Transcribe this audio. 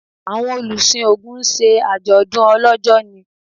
awọn olusin ogún ṣe ajodun olójó ni